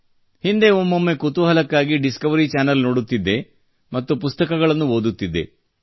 ಹಿಂದೆ ಒಮ್ಮೊಮ್ಮೆ ಕುತೂಹಲಕ್ಕಾಗಿ ಡಿಸ್ಕವರಿ ಚಾನೆಲ್ ನೋಡುತ್ತಿದ್ದೆ ಮತ್ತು ಪುಸ್ತಕಗಳನ್ನು ಓದುತ್ತಿದ್ದೆ